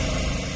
Dayaq boşalır.